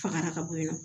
Faga ka bɔ yen nɔ